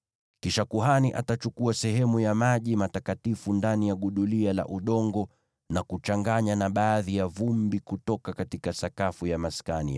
Kisha kuhani atachukua sehemu ya maji matakatifu ndani ya gudulia la udongo na kuchanganya na baadhi ya vumbi kutoka sakafu ya Maskani.